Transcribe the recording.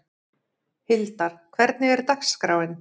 Hildar, hvernig er dagskráin?